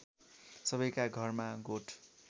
सबैका घरमा गोठ